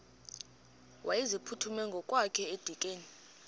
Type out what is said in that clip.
wayeziphuthume ngokwakhe edikeni